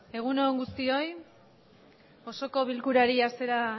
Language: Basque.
egunon guztioi osoko bilkurari hasiera